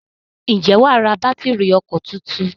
Ǹjẹ́ wà á ra bátìrì ọkọ̀ tuntun?